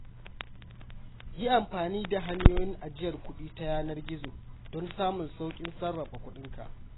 Yi amfani da hanyoyin ajiyar kuɗi ta yanar gizo don samun sauƙin sarrafa kuɗinka.